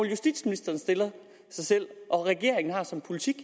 justitsministeren stiller sig selv og regeringen har som politik